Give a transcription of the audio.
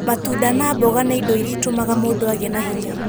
Matunda na mboga nĩ indo iria itũmaga mũndũ agĩe na hinya.